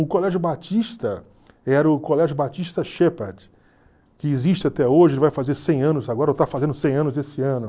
O colégio batista era o colégio Batista Shepard, que existe até hoje, vai fazer cem anos agora, ou está fazendo cem anos esse ano.